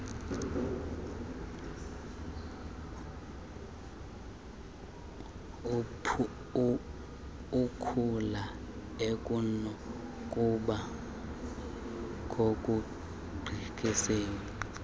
ithula ekunokuba kokugqithisileyo